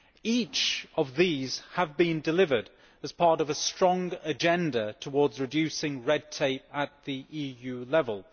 Each of these has been delivered, as part of a strong agenda towards reducing red tape at EU level.